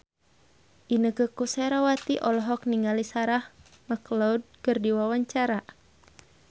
Inneke Koesherawati olohok ningali Sarah McLeod keur diwawancara